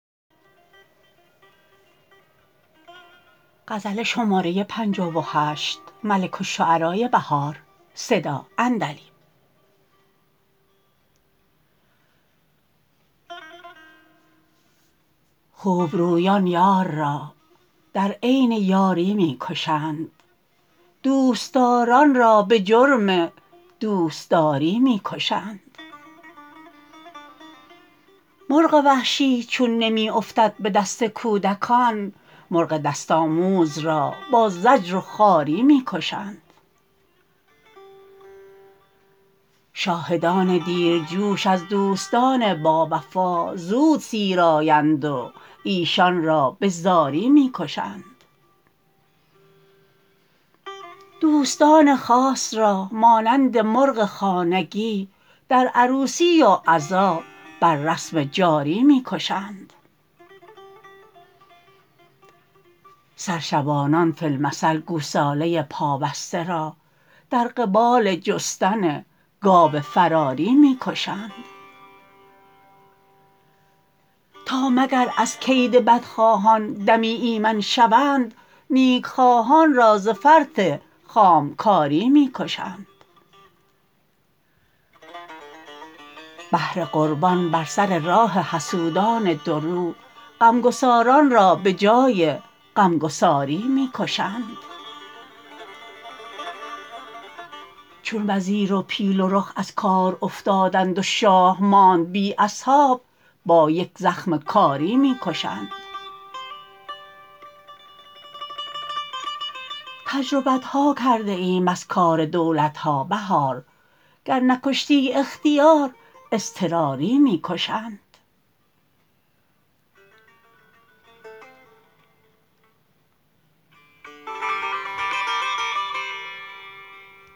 خوبرویان یار را در عین یاری می کشند دوستداران را به جرم دوستداری می کشند مرغ وحشی چون نمی افتد به دست کودکان مرغ دست آموز را با زجر و خواری می کشند شاهدان دیر جوش از دوستان باوفا زود سیر آیند و ایشان را به زاری می کشند دوستان خاص را مانند مرغ خانگی در عروسی و عزا بر رسم جاری می کشند سر شبانان فی المثل گوساله پا بسته را در قبال جستن گاو فراری می کشند تا مگر از کید بدخواهان دمی ایمن شوند نیکخواهان را ز فرط خام کاری می کشند بهر قربان بر سر راه حسودان دورو غمگساران را به جای غمسگاری می کشند چون وزیر و پیل و رخ از کار افتادند و شاه ماند بی اصحاب با یک زخم کاری می کشند تجربت ها کرده ایم از کار دولت ها بهار گر نکشتی اختیاری اضطراری می کشند